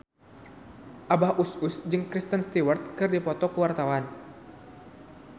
Abah Us Us jeung Kristen Stewart keur dipoto ku wartawan